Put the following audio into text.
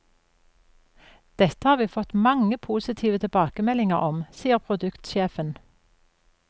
Dette har vi fått mange positive tilbakemeldinger om, sier produktsjefen.